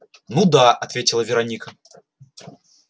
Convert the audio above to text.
ну да ответила вероника